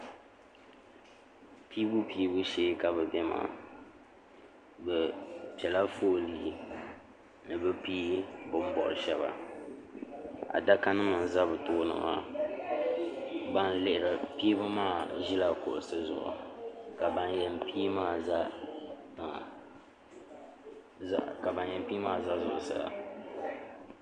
Piibu piibu shee ka bi bɛ maa bi piɛla foolii ni bi piiyi bin bori shɛba adaka nim n za bi tooni maa ban lihiri piibu maa ʒila kuɣusi zuɣu ka ban yɛn piiyi maa za tiŋa ka ban yɛn piiyi maa za zuɣusaa.